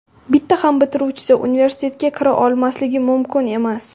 Bitta ham bitiruvchisi universitetga kira olmasligi mumkin emas.